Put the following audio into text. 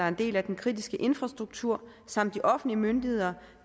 en del af den kritiske infrastruktur som de offentlige myndigheder